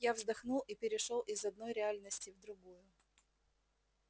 я вздохнул и перешёл из одной реальности в другую